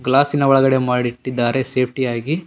ಗ್ಲಾಸಿನ ಒಳಗಡೆ ಮಾಡಿಟ್ಟಿದ್ದಾರೆ ಸೇಫ್ಟಿ ಯಾಗಿ.